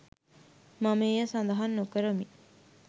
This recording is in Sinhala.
මම එය සඳහන් නොකරමි